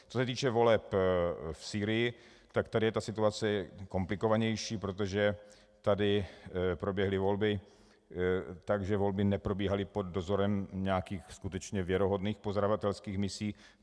Co se týče voleb v Sýrii, tak tady je ta situace komplikovanější, protože tady proběhly volby tak, že volby neprobíhaly pod dozorem nějakých skutečně věrohodných pozorovatelských misí.